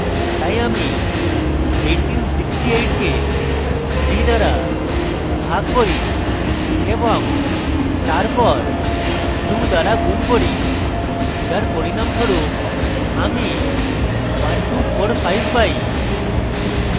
তাই আমি 1868 কে 3 দ্বারা ভাগ করি এবং তারপর 2 দ্বারা গুন করি যার পরিণামস্বরূপ আমি 1245 পাই